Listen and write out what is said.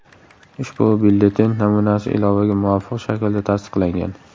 Ushbu byulleten namunasi ilovaga muvofiq shaklda tasdiqlangan.